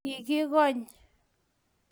Kiikokony